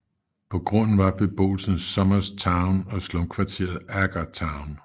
På grunden var beboelsen Somers Town og slumkvarteret Agar Town